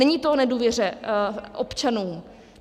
Není to o nedůvěře občanů.